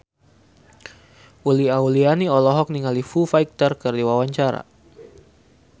Uli Auliani olohok ningali Foo Fighter keur diwawancara